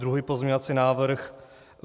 Druhý pozměňovací návrh.